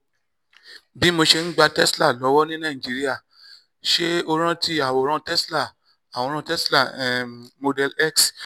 bí mo ṣe ń gba tesla lọ́wọ́ ní nàìjíríà: ṣé o rántí àwòrán tesla àwòrán tesla um model x